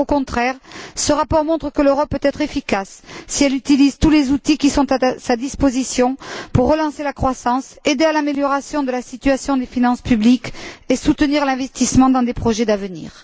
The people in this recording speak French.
Au contraire, ce rapport montre que l'Europe peut être efficace si elle utilise tous les outils qui sont à sa disposition pour relancer la croissance, aider à l'amélioration de la situation des finances publiques et soutenir l'investissement dans des projets d'avenir.